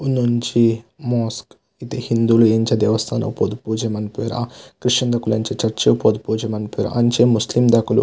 ಉಂದೊಂಜಿ ಮೋಸ್ಕ್ ಇತ್ತೆ ಹಿಂದುಲು ಎಂಚ ದೇವಸ್ಥಾನ ಪೋದು ಪೂಜೆ ಮನ್ಪುವೆರ ಕ್ರಿಶ್ಯನ್ ದಕುಲು ಎಂಚ ಚರ್ಚ್ ಪೋದು ಪೂಜೆ ಮನ್ಪುವೆರ ಅಂಚ ಮುಸ್ಲಿಮ್ ದಕುಲು.